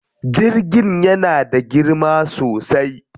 Jirgin yana da girma sosai.